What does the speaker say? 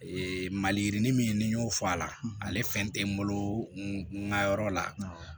Ee maliyirinin min y'o fɔ a la ale fɛn te n bolo n ga yɔrɔ la